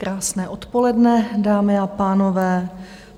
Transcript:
Krásné odpoledne, dámy a pánové.